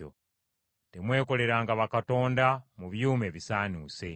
“Temwekoleranga bakatonda mu byuma ebisaanuuse.